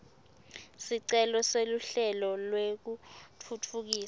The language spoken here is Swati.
sicelo seluhlelo lwekutfutfukisa